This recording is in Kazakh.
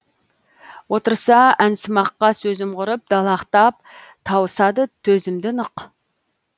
отырса әнсымаққа сөзім құрып далақтап тауысады төзімді нық